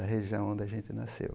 Da região onde a gente nasceu.